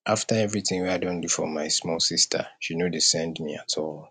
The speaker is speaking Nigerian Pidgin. after everytin wey i don do for my small sista she no dey send me at all